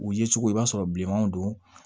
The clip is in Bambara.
U ye cogo i b'a sɔrɔ bilenmanw don